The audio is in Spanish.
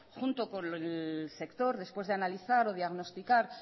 junto con el sector después de analizar o diagnosticar